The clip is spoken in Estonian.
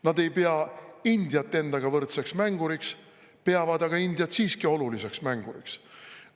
Nad ei pea Indiat endaga võrdseks mänguriks, peavad aga Indiat siiski oluliseks mänguriks.